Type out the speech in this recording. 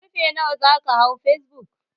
Ƙarfe nawa zaka hau facebook?